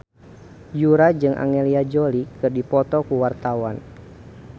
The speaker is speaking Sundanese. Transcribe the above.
Yura jeung Angelina Jolie keur dipoto ku wartawan